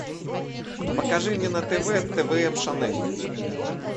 покажи мне на тв твм шанель